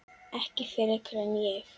Ekki frekar en ég.